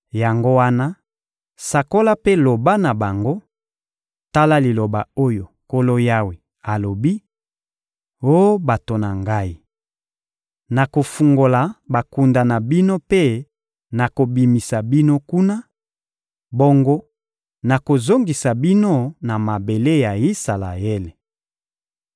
Yango wana, sakola mpe loba na bango: «Tala liloba oyo Nkolo Yawe alobi: Oh bato na Ngai, nakofungola bakunda na bino mpe nakobimisa bino kuna, bongo nakozongisa bino na mabele ya Isalaele.